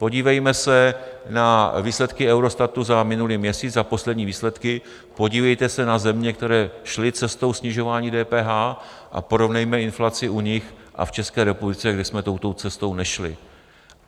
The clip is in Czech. Podívejme se na výsledky Eurostatu za minulý měsíc a poslední výsledky, podívejte se na země, které šly cestou snižování DPH, a porovnejme inflaci u nich a v České republice, kde jsme touto cestou nešli.